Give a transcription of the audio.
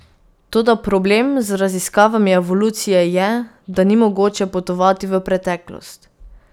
Toda problem z raziskavami evolucije je, da ni mogoče potovati v preteklost.